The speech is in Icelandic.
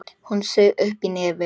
Hún saug upp í nefið.